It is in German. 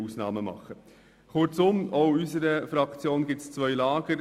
Kurz: Auch in unserer Fraktion gibt es zwei Lager.